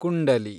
ಕುಂಡಲಿ